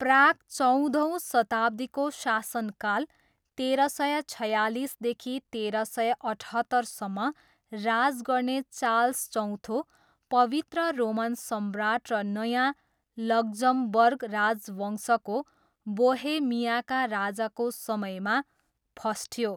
Prague चौधौँ शताब्दीको शासनकाल, तेह्र सय छयालिसदेखि तेह्र सय अठहत्तरसम्म राज गर्ने चार्ल्स चौथो, पवित्र रोमन सम्राट र नयाँ लक्जमबर्ग राजवंशको बोहेमियाका राजाको समयमा फस्ट्यो।